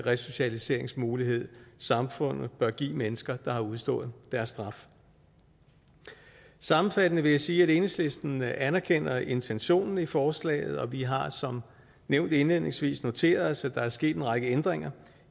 resocialiseringsmulighed samfundet bør give mennesker der har udstået deres straf sammenfattende vil jeg sige at enhedslisten anerkender intentionen i forslaget og vi har som nævnt indledningsvis noteret os at der er sket en række ændringer